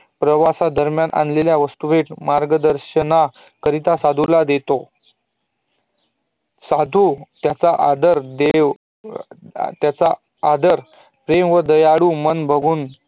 प्रवास दरम्यान आणल्येल्या वस्तू मार्गदर्शना करिता साधूला देतो साधू त्याचा आदर देव हम्म त्याचा आदर देव व दयाळू म्हणून करतो